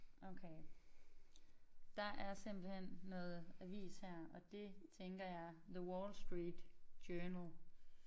Okay. Der er simpelthen noget avis her og det tænker jeg The Wall Street Journal